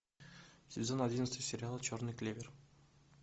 сезон одиннадцать сериала черный клевер